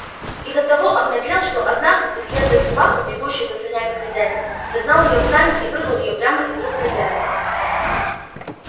и до того обнаглел что однажды преследуя собаку бегущую за санями хозяина загнал её в сани и вырвал её прямо из рук хозяина